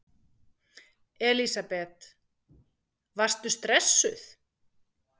Elísabet: Varstu stressuð?